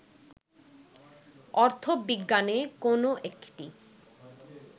অর্থবিজ্ঞানে কোন একটি